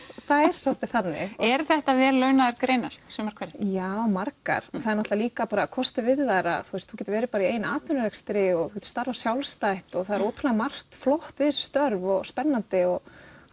það er svolítið þannig eru þetta vel launaðar greinar sumar hverjar já margar það er líka kostur við þær að þú getur verið í eigin atvinnurekstri og getur starfað sjálfstætt og það er margt flott við þessi störf og spennandi og